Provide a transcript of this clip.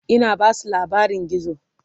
Ina Basu labarin gizo